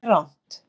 Þetta er rangt